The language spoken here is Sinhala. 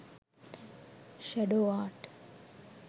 shadow art